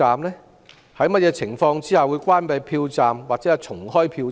在甚麼情況下會關閉票站或重開票站？